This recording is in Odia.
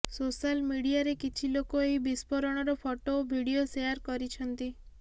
ସୋଶାଲ୍ ମିଡିଆରେ କିଛି ଲୋକ ଏହି ବିସ୍ଫୋରଣର ଫଟୋ ଓ ଭିଡିଓ ସେୟାର କରିଛନ୍ତି